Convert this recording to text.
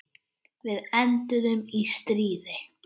Við enduðum í stríði.